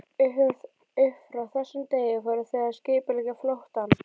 Upp frá þessum degi fóru þau að skipuleggja flóttann.